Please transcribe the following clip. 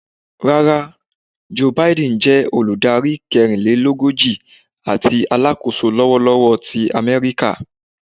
Rara, Joe Biden jé Olùdarí kẹrinlelogoji àti Alákóso lọwọlọwọ ti Améríkà